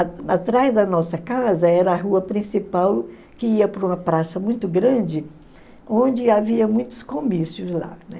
Atrás da nossa casa era a rua principal, que ia para uma praça muito grande, onde havia muitos comícios lá.